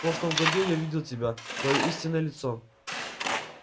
в прошлом году я видел тебя твоё истинное лицо